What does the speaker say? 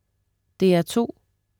DR2: